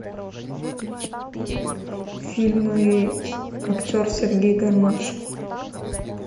фильмы актер сергей гармаш